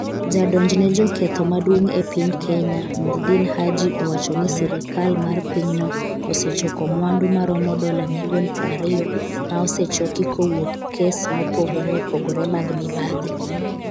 Jadonjne joketho Maduong' e piny Kenya, Noordin Haji owacho ni sirikal mar pinyno osechoko mwandu ma romo dola milion 20 ma osechoki kowuok e kes mopogre opogre mag mibadhi.